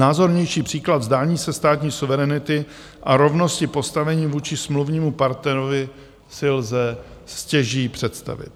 Názornější příklad vzdání se státní suverenity a rovnosti postavení vůči smluvnímu partnerovi si lze stěží představit.